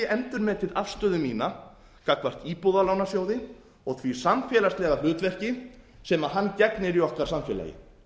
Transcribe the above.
endurmetið afstöðu mína gagnvart íbúðalánasjóði og því samfélagslega hlutverki sem hann gegnir í okkar samfélagi